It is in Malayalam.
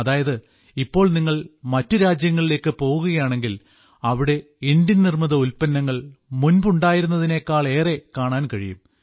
അതായത് ഇപ്പോൾ നിങ്ങൾ മറ്റു രാജ്യങ്ങളിലേക്ക് പോകുകയാണെങ്കിൽ അവിടെ ഇന്ത്യൻ നിർമ്മിത ഉല്പ്പന്നങ്ങൾ മുൻപുണ്ടായിരുന്നതിനേക്കാളേറെ കാണാൻ കഴിയും